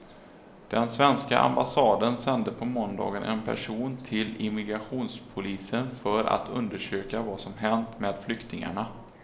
Den svenska ambassaden sände på måndagen en person till immigrationspolisen för att undersöka vad som hänt med flyktingarna.